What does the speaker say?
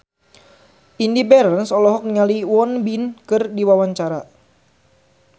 Indy Barens olohok ningali Won Bin keur diwawancara